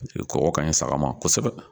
kɔkɔ ka ɲi saga ma kosɛbɛ.